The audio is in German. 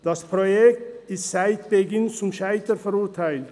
Das Projekt ist seit dessen Beginn zum Scheitern verurteilt;